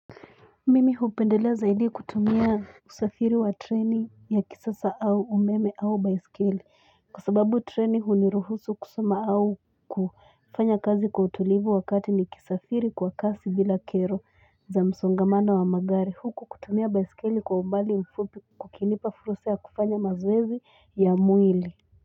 Mimi hupendelea zaidi kutumia kusafiri wa treni ya kisasa au umeme au baiskeli kwa sababu treni huniruhusu kusoma au kufanya kazi kwa utulivu wakati ni kisafiri kwa kasi bila kero za msongamana wa magari huku kutumia baiskeli kwa umbali mfupi kukinipa fursa ya kufanya mazoezi ya mwili.